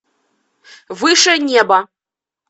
выше неба